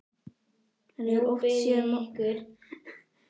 Hann hefur oft séð móður Klöru.